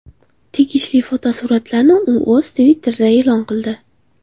Tegishli fotosuratlarni u o‘z Twitter’ida e’lon qildi .